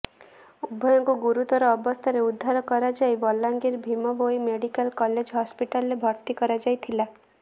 ଉଭୟଙ୍କୁ ଗୁରୁତର ଅବସ୍ଥାରେ ଉଦ୍ଧାର କରାଯାଇ ବଲାଙ୍ଗିର ଭୀମ ଭୋଇ ମେଡିକାଲ କଲେଜ ହସ୍ପିଟାଲରେ ଭର୍ତ୍ତି କରାଯାଇଥିଲା